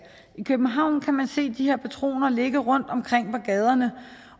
i københavn kan man se de her patroner ligge rundtomkring på gaderne